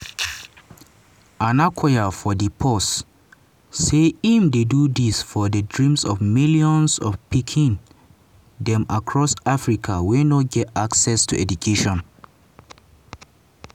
onakoya for di post say im dey do dis for di dreams of millions of pikin dem across africa wey no get access to education.